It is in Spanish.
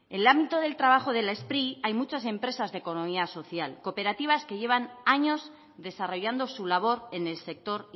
en el ámbito de trabajo de la spri hay muchas empresas de economía social cooperativas que llevan años desarrollando su labor en el sector